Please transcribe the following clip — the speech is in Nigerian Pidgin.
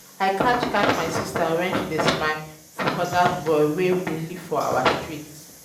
um i catch catch um my sister wen she dey smile for dat boy wey dey live for our street